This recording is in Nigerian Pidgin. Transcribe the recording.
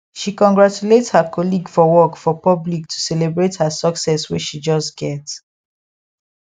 she congratulate her colleague for work for public to celebrate her success wey she just get